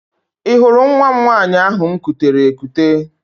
Ị hụrụ nwa m nwaanyị ahụ m kutere ekute?